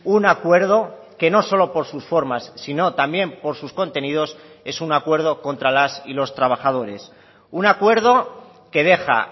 un acuerdo que no solo por sus formas sino también por sus contenidos es un acuerdo contra las y los trabajadores un acuerdo que deja